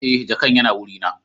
eh jakan Yana wurina